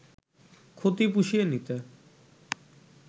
ক্ষতি পুষিয়ে নিতে